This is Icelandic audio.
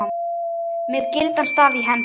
með gildan staf í hendi